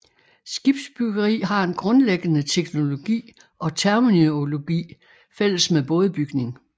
Skibsbyggeri har en grundlæggende teknologi og terminologi fælles med bådebygning